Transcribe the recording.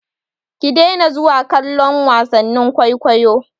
Ki daina zuwa kallon wasannin kwaikwayo!